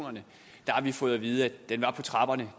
ja